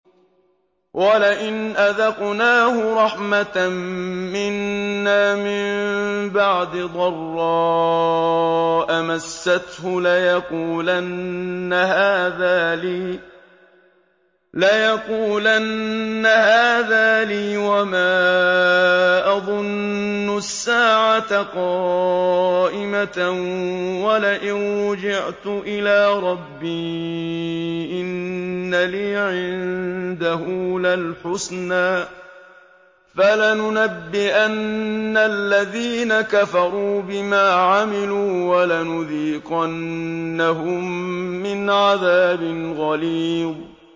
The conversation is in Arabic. وَلَئِنْ أَذَقْنَاهُ رَحْمَةً مِّنَّا مِن بَعْدِ ضَرَّاءَ مَسَّتْهُ لَيَقُولَنَّ هَٰذَا لِي وَمَا أَظُنُّ السَّاعَةَ قَائِمَةً وَلَئِن رُّجِعْتُ إِلَىٰ رَبِّي إِنَّ لِي عِندَهُ لَلْحُسْنَىٰ ۚ فَلَنُنَبِّئَنَّ الَّذِينَ كَفَرُوا بِمَا عَمِلُوا وَلَنُذِيقَنَّهُم مِّنْ عَذَابٍ غَلِيظٍ